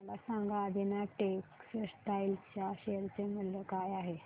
मला सांगा आदिनाथ टेक्स्टटाइल च्या शेअर चे मूल्य काय आहे